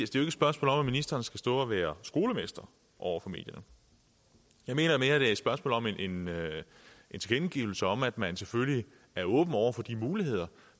spørgsmål om at ministeren skal stå og være skolemester over for medierne jeg mener mere at det er et spørgsmål om en en tilkendegivelse om at man selvfølgelig er åben over for de muligheder